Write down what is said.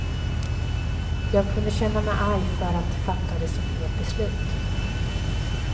Jag kunde känna mig arg för att de fattade så fel beslut.